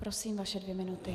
Prosím, vaše dvě minuty.